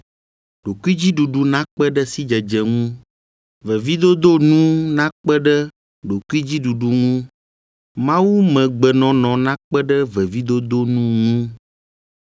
ɖokuidziɖuɖu nakpe ɖe sidzedze ŋu, vevidodo nu nakpe ɖe ɖokuidziɖuɖu ŋu, mawumegbenɔnɔ nakpe ɖe vevidodo nu ŋu;